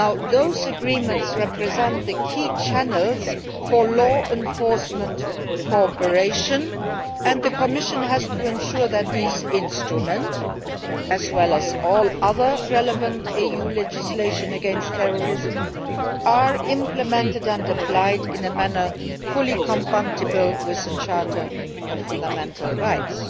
This agreement represents the key channels for law enforcement cooperation, and the Commission has to ensure that this instrument, as well as all other relevant EU legislation against terrorism, is implemented and applied in a manner fully compatible with the Charter of Fundamental Rights.